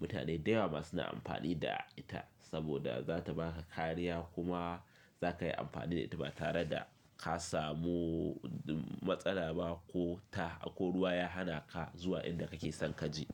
Mutane da yawa ma suna amfani da ita saboda za ta ba ka kariya kuma za ka yi amfani da ita ba tare da ka samu matsala ba ko ta ko ruwa ya hana ka zuwa inda kake son ka je.